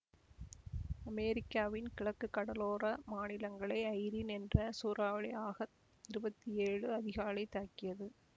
அமெரிக்காவின் கிழக்கு கடலோர மாநிலங்களை ஐரீன் என்ற சூறாவளி ஆகத்து இருபத்தி ஏழு அதிகாலை தாக்கியது